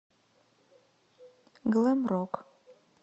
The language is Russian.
глэм рок